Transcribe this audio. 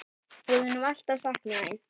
Við munum alltaf sakna þín.